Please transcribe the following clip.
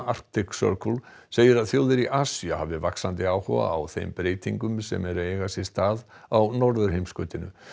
Arctic Circle segir að þjóðir í Asíu hafi vaxandi áhuga á þeim breytingum sem eru að eiga sér stað á norðurheimskautinu